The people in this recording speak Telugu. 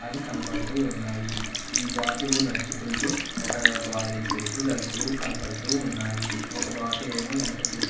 అవి కనబడుతూ వున్నాయి ఈ బాతులు నడుచుకుంటూ ఒక గోడ దగ్గరకి వెళుతూ కనబడుతూ వున్నాయి. ఒక బాతు ఏమో ఎనక చూస్తూ --